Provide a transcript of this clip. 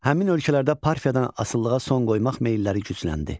Həmin ölkələrdə Parfiyadan asılığa son qoymaq meyilləri gücləndi.